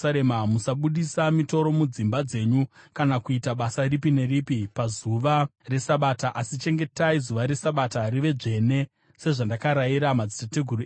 Musabudisa mitoro mudzimba dzenyu kana kuita basa ripi neripi pazuva reSabata, asi chengetai zuva reSabata rive dzvene, sezvandakarayira madzitateguru enyu.